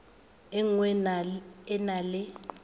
e nngwe e na le